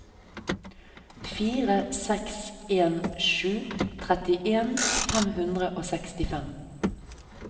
fire seks en sju trettien fem hundre og sekstifem